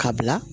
Ka bila